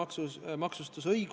Kalvi Kõva, palun!